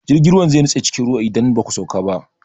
Jirgin ruwan zai nutse cikin ruwa idan ba ku sauka ba.